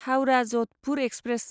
Howrah Jodhpur express